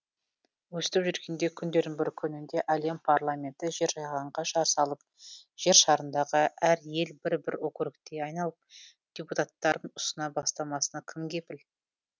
өстіп жүргенде күндердің бір күнінде әлем парламенті жер жиһанға жар салып жер шарындағы әр ел бір бір округке айналып депутаттарын ұсына бастамасына кім кепіл